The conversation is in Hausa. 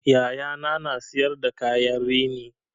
Yayana na siyar da kayan rini